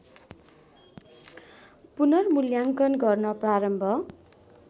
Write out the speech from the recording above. पुनर्मूल्याङ्कन गर्न प्रारम्भ